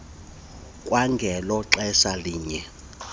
kwangelo xesha linye